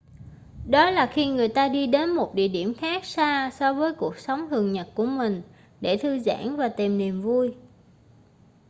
đó là khi người ta đi đến một địa điểm khác xa so với cuộc sống thường nhật của mình để thư giãn và tìm niềm vui